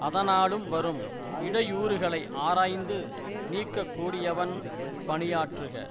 அதனாலும் வரும் இடையூறுகளை ஆராய்ந்து நீக்க கூடியவன் பணியாற்றுக